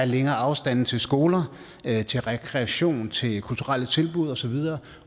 længere afstande til skoler til rekreation og til kulturelle tilbud osv